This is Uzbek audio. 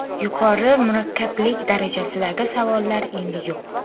Yuqori murakkablik darajasidagi savollar endi yo‘q.